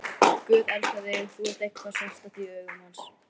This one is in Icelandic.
Guð elskar þig, þú ert eitthvað sérstakt í hans augum.